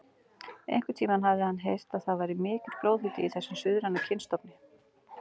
Einhvern tíma hafði hann heyrt að það væri mikill blóðhiti í þessum suðræna kynstofni.